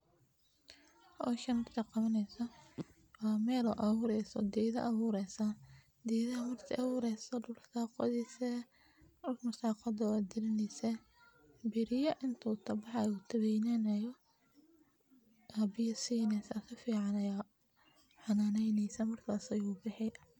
Howshan markaad qabaneyso waa mel oo abureyso gedha abureysa geedhaha marka aad abureyso dulka ayaa qodheysa dulka markaad qodo waad galineysa beriya intuu kabaxayo uu kaweynanayo aya biyo sineysa sifican ayaa xananeysa markas ayuu bixi.